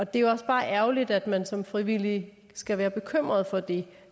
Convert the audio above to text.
det er også bare ærgerligt at man som frivillig skal være bekymret for det